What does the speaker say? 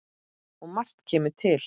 Og margt kemur til.